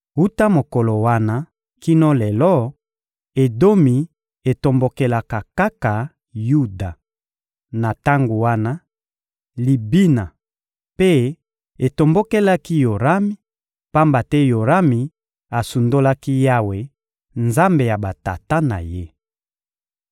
Wuta mokolo wana kino lelo, Edomi etombokelaka kaka Yuda. Na tango wana, Libina mpe etombokelaki Yorami, pamba te Yorami asundolaki Yawe, Nzambe ya batata na ye.